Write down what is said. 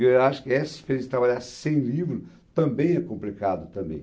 Eu acho que essa diferença de trabalhar sem livro também é complicada também.